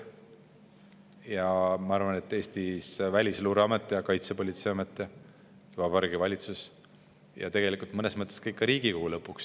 Ja ma arvan, et Välisluureamet, Kaitsepolitseiamet, Vabariigi Valitsus ja mõnes mõttes lõpuks ka Riigikogu.